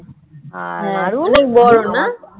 আর অনেক বড় না,